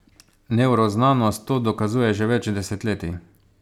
Nevroznanost to dokazuje že več desetletij.